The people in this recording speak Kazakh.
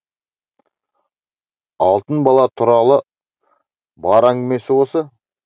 алтын бала туралы бар әңгімесі осы